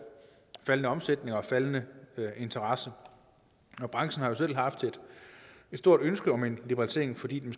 faldende omsætning og faldende interesse branchen har jo selv haft et stort ønske om en liberalisering fordi den